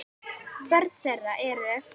Börn þeirra eru